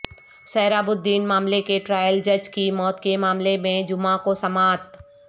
سہراب الدین معاملے کے ٹرائل جج کی موت کے معاملے میں جمعہ کو سماعت